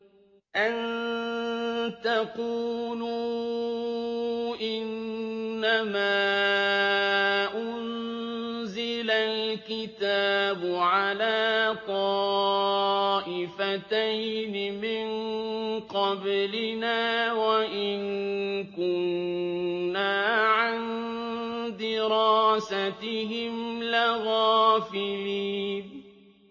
أَن تَقُولُوا إِنَّمَا أُنزِلَ الْكِتَابُ عَلَىٰ طَائِفَتَيْنِ مِن قَبْلِنَا وَإِن كُنَّا عَن دِرَاسَتِهِمْ لَغَافِلِينَ